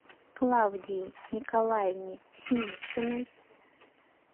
клавдии николаевне синициной